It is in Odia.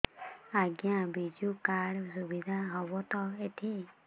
ଆଜ୍ଞା ବିଜୁ କାର୍ଡ ସୁବିଧା ହବ ତ ଏଠି